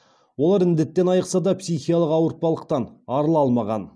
олар індеттен айықса да психикалық ауыртпалықтан арыла алмаған